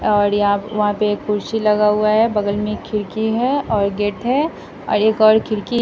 और यहाँ वहाँ पे एक कुर्सी लगा हुआ है बगल में खिड़की है और गेट है और एक और खिड़की --